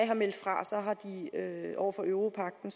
har meldt fra over for europagten